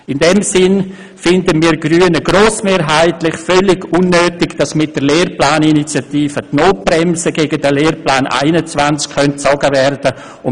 In diesem Sinn halten wir Grüne es grossmehrheitlich für völlig unnötig, dass mit der Lehrplaninitiative die Notbremse gegen den Lehrplan 21 gezogen werden könnte.